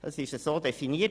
Das ist so definiert.